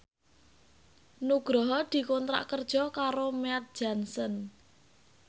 Nugroho dikontrak kerja karo Mead Johnson